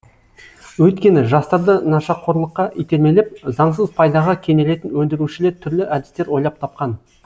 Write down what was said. өйткені жастарды нашақорлыққа итермелеп заңсыз пайдаға кенелетін өндірушілер түрлі әдістер ойлап тапқан